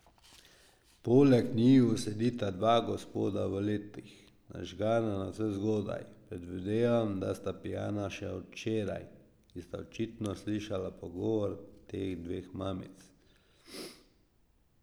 Poleg njiju sedita dva gospoda v letih, nažgana navsezgodaj, predvidevam, da sta pijana še od včeraj, ki sta očitno slišala pogovor teh dveh mamic.